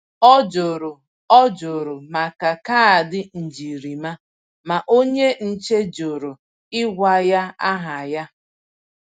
Ọ jụrụ Ọ jụrụ maka kaadị njirima, ma onye nche jụrụ ịgwa ya aha ya.